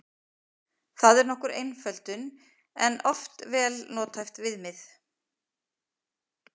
Það er nokkur einföldun en oft vel nothæft viðmið.